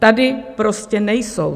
Tady prostě nejsou.